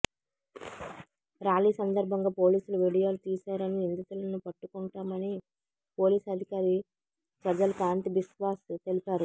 rally సందర్భంగా పోలీసులు వీడియోలు తీశారని నిందితులను పట్టుకుంటామని పోలీస్ అధికారి సజల్ కాంతి బిశ్వాస్ తెలిపారు